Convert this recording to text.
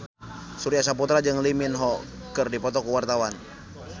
Surya Saputra jeung Lee Min Ho keur dipoto ku wartawan